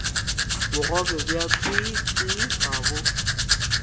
bogobe bja tswiitswii ga bo